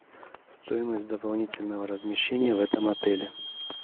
стоимость дополнительного размещения в этом отеле